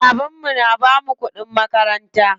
Baban mu na bamu kuɗin makaranta.